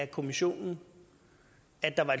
kommissionen